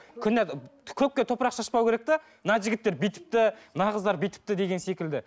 көпке топырақ шашпау керек те мына жігіттер бүйтіпті мына қыздар бүйтіпті деген секілді